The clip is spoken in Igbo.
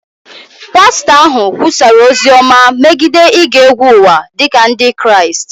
pastọ ahụ kwusara ozi ọma megide ige egwu ụwa dị ka Ndị Kraịst